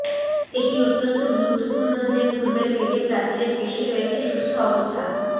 এটি অত্যন্ত গুরুত্বপূর্ণ যে পূর্বের পেটে প্রাচীরের পেশী রয়েছে সুস্থ অবস্থা